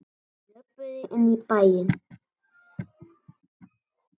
Þeir löbbuðu inn í bæinn.